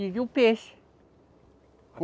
E viu peixe.